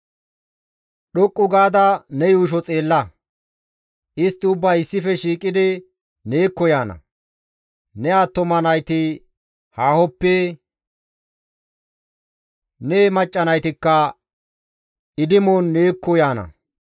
«Dhoqqu gaada ne yuusho xeella; istti ubbay issife shiiqidi neekko yaana; ne attuma nayti haahoppe, ne macca naytikka idimon neekko yaana.